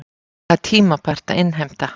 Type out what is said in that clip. Það er tímabært að innheimta.